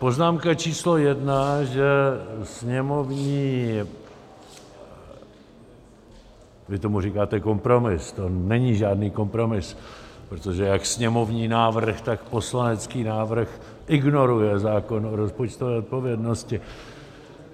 Poznámka číslo jedna, že sněmovní... vy tomu říkáte kompromis, to není žádný kompromis, protože jak sněmovní návrh, tak poslanecký návrh ignoruje zákon o rozpočtové odpovědnosti.